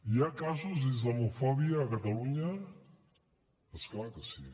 hi ha casos d’islamofòbia a catalunya és clar que sí